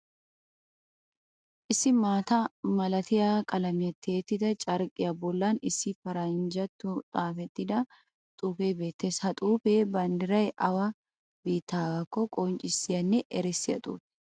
Issi maata malatiya qalamiyan tiyettida carqqiya bollan issi paranjjattuwan xaafettida xuufee beettees. Ha xuufee banddiray awa biittaagaakko qonccissiyanne erissiya xuufe.